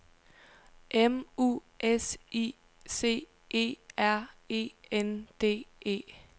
M U S I C E R E N D E